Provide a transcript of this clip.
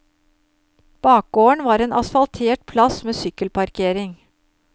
Bakgården var en asfaltert plass med sykkelparkering.